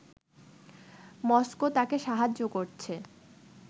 Moscow তাকে সাহায্য করছে